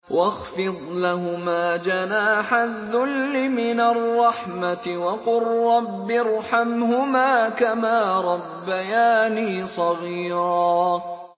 وَاخْفِضْ لَهُمَا جَنَاحَ الذُّلِّ مِنَ الرَّحْمَةِ وَقُل رَّبِّ ارْحَمْهُمَا كَمَا رَبَّيَانِي صَغِيرًا